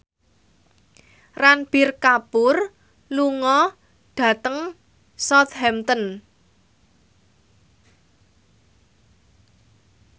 Ranbir Kapoor lunga dhateng Southampton